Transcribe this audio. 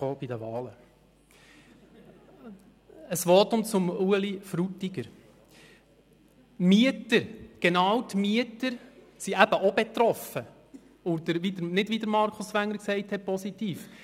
Zum Votum von Ueli Frutiger: Die Mieter sind eben auch betroffen und zwar nicht positiv, wie Markus Wenger gesagt hat.